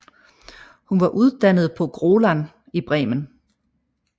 Hun var uddannet på Grolland i Bremen